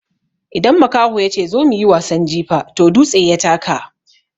Idan makaho yace "zo mu yi wasan jifa" toh dutse ya taka.